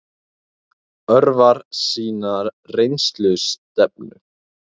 Örvarnar sýna rennslisstefnu.